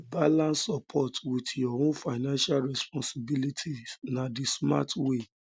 balance support with um your own financial responsibilities na the smart um way